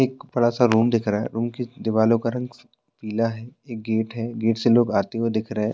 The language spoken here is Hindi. एक बड़ा सा रूम दिख रहा है रूम की दिवलो का रंग पीला है एक गेट है गेट से लोग आते हुए दिख रहें हैं।